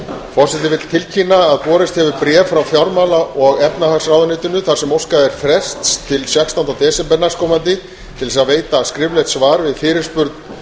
forseti vill tilkynna að borist hefur bréf frá fjármála og efnahagsráðuneytinu þar sem óskað er frests til sextánda desember á til þess að veita skriflegt svar við fyrirspurn